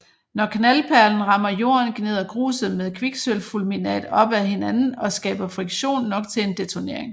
Når knaldperlen rammer jorden gnider gruset med kviksølvfulminat op ad hinanden og skaber friktion nok til en detonering